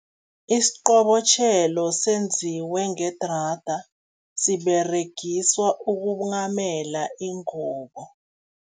Isiqobotjhelo senziwe ngedrada, siberegiswa ukunghamela ingubo.